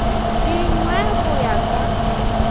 di nwe go ya ka